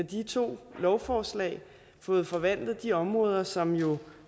de to lovforslag fået forvandlet de områder som jo